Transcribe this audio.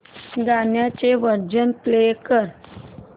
गाण्याचे version play कर